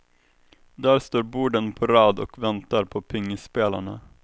Där står borden på rad och väntar på pingisspelarna.